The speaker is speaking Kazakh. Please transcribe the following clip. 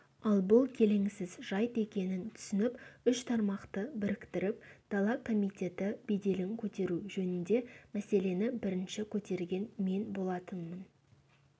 ал бұл келеңсіз жайт екенін түсініп үш тармақты біріктіріп дала комитеті беделін көтеру жөнінде мәселені бірінші көтерген мен болатынмын